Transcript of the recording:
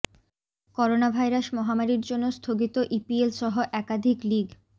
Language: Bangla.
করোনা ভাইরাস মহামারীর জন্য স্থগিত ইপিএল সহ একাধিক লিগ